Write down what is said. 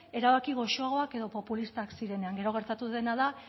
erabaki goxoak edo populistak zirenean gero gertatu dena da